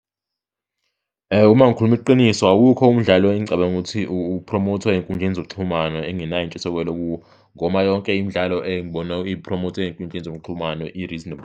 Uma ngikhuluma iqiniso, awukho umdlalo engicabanga ukuthi uphromothwa ey'nkundleni zokuxhumana engingenayo intshisekelo kuwo, ngoma yonke imidlalo engibona ipromothwa ey'nkundleni zokuxhumano i-reasonable.